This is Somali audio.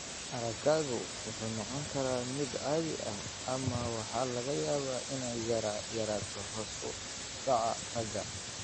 Araggu wuxuu noqon karaa mid caadi ah, ama waxaa laga yaabaa inay yara yaraato hoos u dhaca aragga.